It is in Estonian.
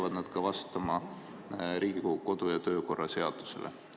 Kas need peavad vastama ka Riigikogu kodu- ja töökorra seadusele?